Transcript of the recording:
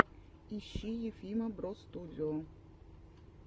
ищи ефима бростудио